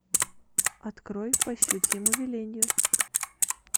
открой по щучьему велению